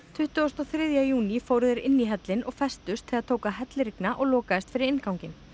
tuttugasta og þriðja júní fóru þeir inn í hellinn og festust þegar tók að hellirigna og lokaðist fyrir innganginn